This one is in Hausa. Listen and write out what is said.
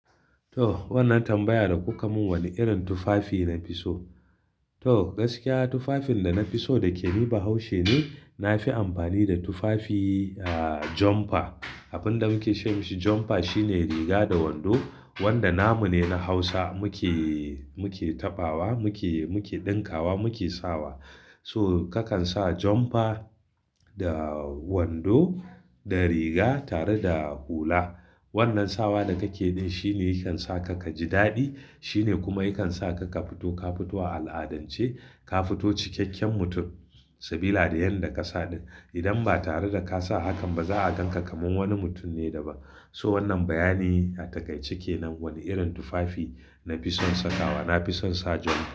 To wannan tambaya da kuka mun wane irin tufafi na fi so? To gaskiya tufafin da na fi so dake ni ba haushi ne, na fi amfani da tufafi ah jumper. Abun da muke ce mashi jumper shine riga da wando wanda namu ne na Hausa muke, muke taɓawa muke, muke ɗinkawa muke sawa. So kakan sa jumper da wando da riga tare da hula. Wannan sawa da kake yi shi ne yakan sa ka kaji daɗi shine kuma yakan sa ka, ka fito, ka fito a al'adance, ka fito cikakken mutum. Sabila da yanda ka sa, idan ba tare da ka sa hakan ba za'a gan ka kaman wani mutum ne da ba. So wannan bayani a taƙaice kenan, wane irin tufafi na fi son sakawa. Na fi son sa jumper.